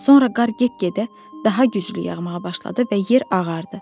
Sonra qar get-gedə daha güclü yağmağa başladı və yer ağardı.